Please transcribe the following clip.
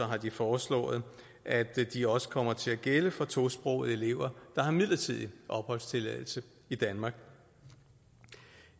har de foreslået at de også kommer til at gælde for tosprogede elever der har midlertidig opholdstilladelse i danmark